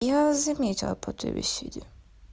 я вас заметила по той беседе